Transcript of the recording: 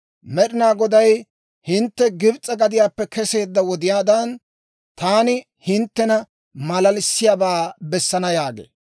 Med'ina Goday, «Hintte Gibs'e gadiyaappe keseedda wodiyaadan, taani hinttena maalalissiyaabaa bessana» yaagee.